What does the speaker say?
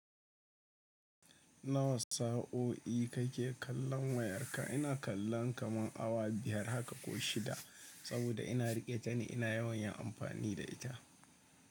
Nawa sa'o'i kake kallon wayarka? Ina kallon kaman awa biyar haka ko shida saboda ina riƙe ta ne ina yawan yin amfani da ita.